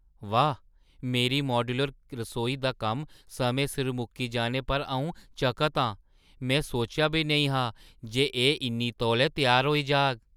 वाह्! मेरी माड्‌यूलर रसोई दा कम्म समें सिर मुक्की जाने पर अऊं बड़ा चकत आं। में सोचेआ बी नेईं हा जे एह् इन्ने तौले त्यार होई जाग ।